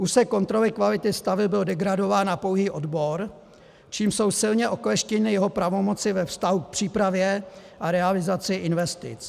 Úsek kontroly kvality staveb byl degradován na pouhý odbor, čímž jsou silně okleštěny jeho pravomoci ve vztahu k přípravě a realizaci investic.